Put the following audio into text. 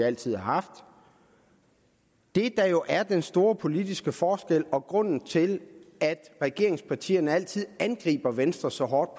altid har haft det der jo er den store politiske forskel og grunden til at regeringspartierne altid angriber venstre så hårdt